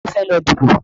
Ta ló fẹ́ lọ díbò?